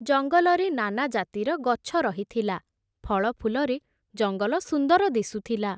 ଜଙ୍ଗଲରେ ନାନା ଜାତିର ଗଛ ରହିଥିଲା, ଫଳଫୁଲରେ ଜଙ୍ଗଲ ସୁନ୍ଦର ଦିଶୁଥିଲା ।